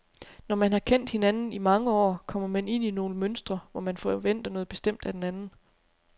Når man har kendt hinanden i mange år, kommer man ind i nogle mønstre, hvor man forventer noget bestemt af den anden.